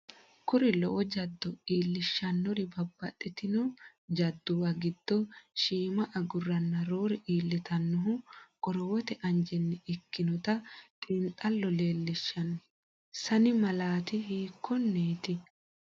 Kuri lowo jaddo iillishshonnori babbaxxitino jadduwa giddo shiima agurranna roore iillitannohu qorowote anjenni ikkinota xiinxallo leel lishshanno, sanni malaati hiikkonneeti?